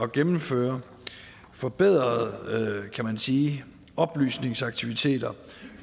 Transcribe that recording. gennemføre forbedrede kan man sige oplysningsaktiviteter